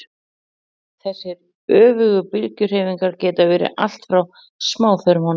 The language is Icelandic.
þessar öfugu bylgjuhreyfingar geta verið allt frá smáþörmunum